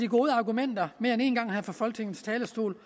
gode argumenter mere end en gang her fra folketingets talerstol